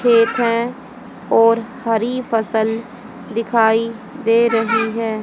खेत है और हरी फसल दिखाई दे रही है।